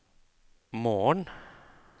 morgen